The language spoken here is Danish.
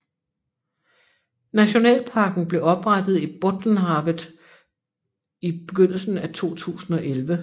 Nationalparken blev oprettet i Bottenhavet i begyndelsen af 2011